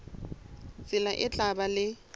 tsela e tla ba le